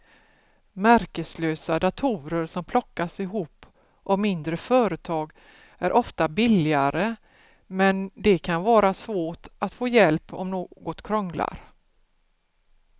Märkeslösa datorer som plockas ihop av mindre företag är ofta billigare men det kan vara svårt att få hjälp om något krånglar.